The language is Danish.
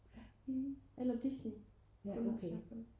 eller Disney